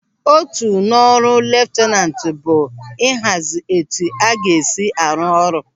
Otu n'ọrụ leftanantu bụ ịhazi etu a ga-esi arụ ọrụ.